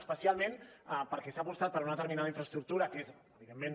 especialment perquè s’ha apostat per una determinada infraestructura que és evidentment